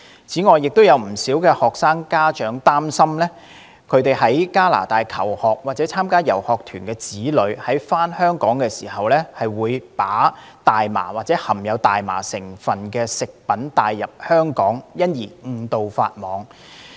此外，有不少學生家長擔心其在加拿大求學或參加遊學團的子女在返港時，把大麻或含大麻成分食品帶入香港，因而誤墮法網。